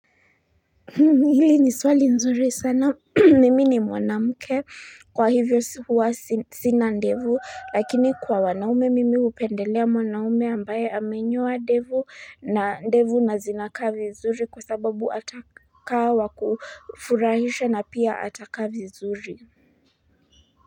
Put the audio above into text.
Hili ni swali nzuri sana mimi ni mwanamke kwa hivyo huwa sina ndevu lakini kwa wanaume mimi upendelea mwanaume ambaye amenyoa ndevu na ndevu nazinaka vizuri kwa sababu atakaa wakufurahisha na pia atakaa vizuri.